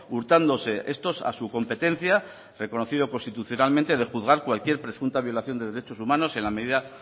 hurtándose estos a su competencia reconocida constitucionalmente de juzgar cualquier presunta violación de derechos humanos en la medida